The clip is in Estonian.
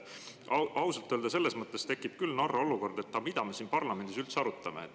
Ausalt öelda, selles mõttes tekib küll narr olukord, et mida me siin parlamendis üldse arutame.